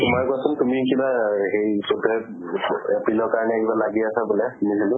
তোমাৰ কোৱাছোন তুমি কিবা হেৰি april কাৰিণে কিবা লাগি আছা বুলে? নাজানো।